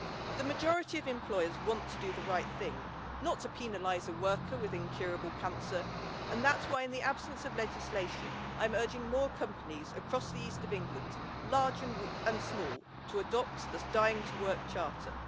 The majority of employers want to do the right thing, not to penalise a worker with incurable cancer, and that is why in the absence of legislation I am urging more companies across the East of England, large and small, to adopt the Dying to Work Charter.